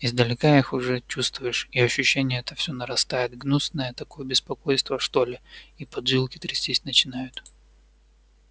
издалека их уже чувствуешь и ощущение это все нарастает гнусное такое беспокойство что ли и поджилки трястись начинают